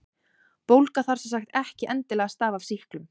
Bólga þarf sem sagt ekki endilega að stafa af sýklum.